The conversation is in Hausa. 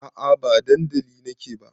A'a ba dandali na ke ba